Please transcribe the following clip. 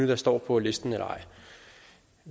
der står på listen eller ej